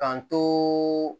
K'an to